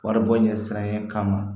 Wari bɔ ɲɛsinnen kama